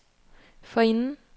forinden